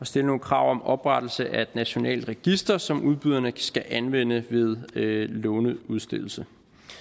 stille nogle krav om oprettelse af et nationalt register som udbyderne skal anvende ved låneudstedelse